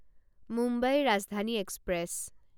Mumbai Rajdhani express